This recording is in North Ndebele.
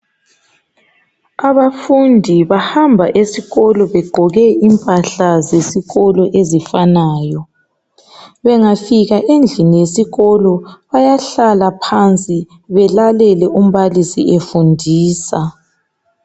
Abafundi bahamba esikolo begqoke impahla zesikolo ezifanayo bengafika endlini yesikolo bayahlala phansi belalele umbalisi efundisa.